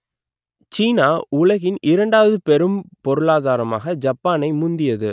சீனா உலகின் இரண்டாவது பெரும் பொருளாதாரமாக ஜப்பானை முந்தியது